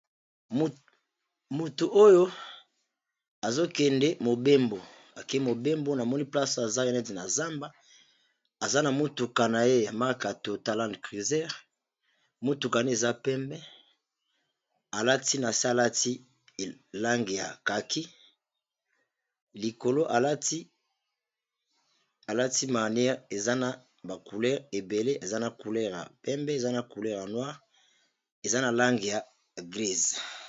Moto oyo azokende mobembo akee mobembo na moni place aza neti na zamba aza na motuka na ye maka to talande cruser motuka ne eza pembe alati na se alati lange ya kaki likolo alati marniere eza na bacouleure ebele eza na couler ya pembe eza na couleur ya noire eza na lange ya mbwe.